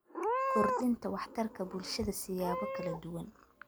Kordhinta Waxtarka Bulshada siyaabo kala duwan.